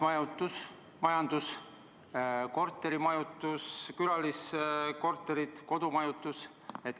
Jagamismajutus, korterimajutus, külaliskorterid, kodumajutus.